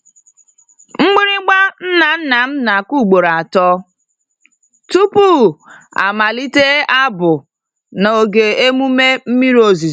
Mgbịrịgba nna nna m na-akụ ugboro atọ tupu a malite abụ n'oge emume mmiri ozuzo.